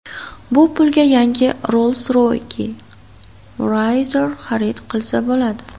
Bu pulga yangi Rolls-Royce Wraith xarid qilsa bo‘ladi.